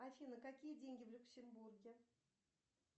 афина какие деньги в люксембурге